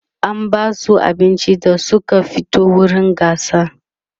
an Basu abinci da Suka fito wurin gasar